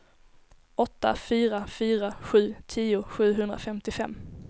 åtta fyra fyra sju tio sjuhundrafemtiofem